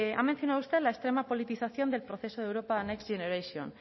ha mencionado usted la extrema politización del proceso de europa next generation